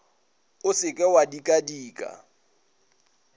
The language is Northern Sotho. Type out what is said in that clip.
o se ke wa dikadika